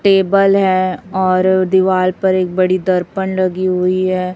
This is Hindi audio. टेबल है और दीवाल पर एक बड़ी दर्पण लगी हुई है।